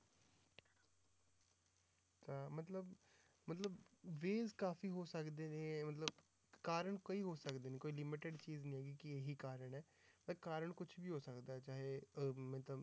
ਤਾਂ ਮਤਲਬ ਮਤਲਬ ਕਾਫ਼ੀ ਹੋ ਸਕਦੇ ਨੇ ਮਤਲਬ ਕਾਰਨ ਕਈ ਹੋ ਸਕਦੇ ਨੇ ਕੋਈ limited ਚੀਜ਼ ਨੀ ਹੈਗੀ ਕਿ ਇਹੀ ਕਾਰਨ ਹੈ, ਤਾਂ ਕਾਰਨ ਕੁਛ ਵੀ ਹੋ ਸਕਦਾ ਹੈ ਚਾਹੇ ਉਹ ਮਤਲਬ